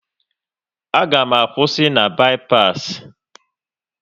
A ga m akwụsị na bi-pas